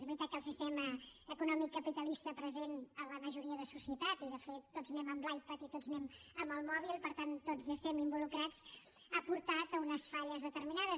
és veritat que el sistema econòmic capitalista present en la majoria de societat i de fet tots anem amb l’ipad i tots anem amb el mòbil i per tant tots hi estem involucrats ha portat a unes falles determinades